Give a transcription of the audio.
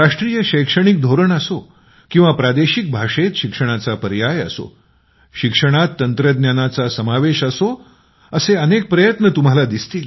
राष्ट्रीय शैक्षणिक धोरण असो किंवा प्रादेशिक भाषेत शिक्षणाचा पर्याय असो शिक्षणात तंत्रज्ञानाचा समावेश असो असे अनेक प्रयत्न तुम्हाला दिसतील